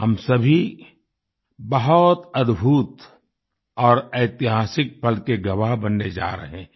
हम सभी बहुत अद्भुत और ऐतिहासिक पल के गवाह बनने जा रहे हैं